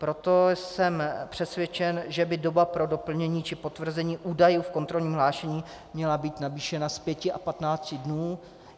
Proto jsem přesvědčen, že by doba pro doplnění či potvrzení údajů v kontrolním hlášení měla být navýšena z pěti na patnáct dnů.